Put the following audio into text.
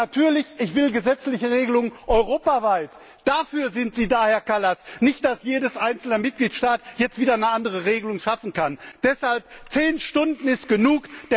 Und natürlich Ich will gesetzliche Regelungen europaweit! Dafür sind Sie da, Herr Kallas, nicht dafür, dass jeder einzelne Mitgliedstaat jetzt wieder eine andere Regelung schaffen kann! Deshalb Zehn Stunden sind genug!